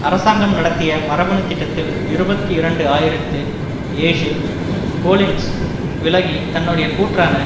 அரசாங்கம் நடத்திய மரபணு திட்டத்தில் இருபத்தி இரண்டு ஆயிரத்தி ஏழில் கோலின்ஸ் விலகி தன்னுடைய கூற்றான